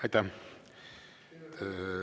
Aitäh!